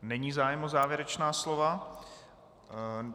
Není zájem o závěrečná slova.